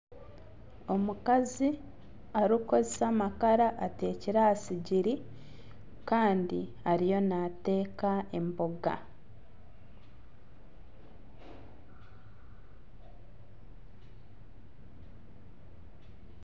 Omukazi arikukozesa amakara atekire aha sigiri Kandi ariyo nateeka emboga